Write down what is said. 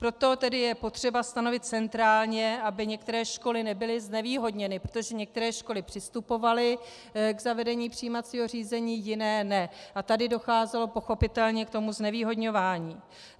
Proto tedy je potřeba stanovit centrálně, aby některé školy nebyly znevýhodněny, protože některé školy přistupovaly k zavedení přijímacího řízení, jiné ne a tady docházelo pochopitelně k tomu znevýhodňování.